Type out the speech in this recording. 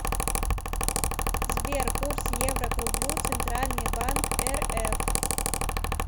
сбер курс евро к рублю центральный банк рф